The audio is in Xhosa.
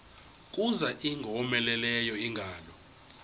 kuza ingowomeleleyo ingalo